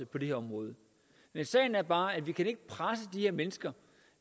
på det her område sagen er bare at vi ikke kan presse de her mennesker